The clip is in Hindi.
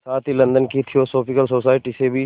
साथ ही लंदन की थियोसॉफिकल सोसाइटी से भी